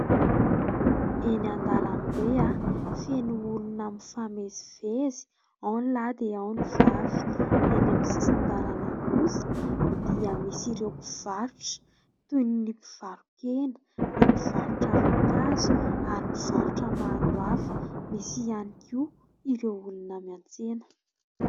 Eny an-dalam-be feno olona mifamezivezy : ao ny lahy, dia ao ny vavy. Ka eny amin'ny sisin-dalana kosa dia misy ireo mpivarotra : toy ny mpivaro-kena, ny mpivarotra voankazo, ary mpivarotra maro hafa ; misy ihany koa ireo olona miantsena.